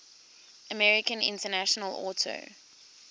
american international auto